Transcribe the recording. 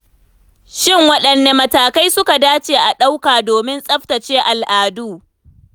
Shin waɗanne matakai suka dace a ɗauka domin tsabtace al'adu?